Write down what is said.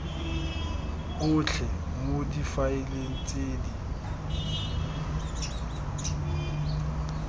otlhe mo difaeleng tse di